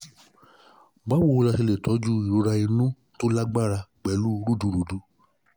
báwo la um ṣe lè toju toju irora inu to lagbara pelu rudurudu?